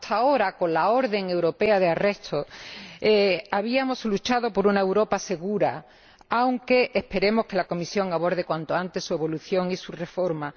Hasta ahora, con la orden de detención europea habíamos luchado por una Europa segura, aunque esperemos que la Comisión aborde cuanto antes su evolución y su reforma.